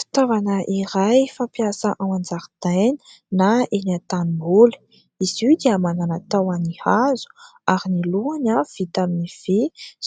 Ftaovana iray fampiasa ao an-jaridaina na eny an-tanimboly , izy io dia manana tahony hazo ary ny lohany a vita amin'ny vy